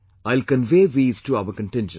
I'll convey these to our contingent